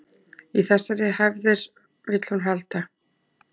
Í þessar hefðir vill hún halda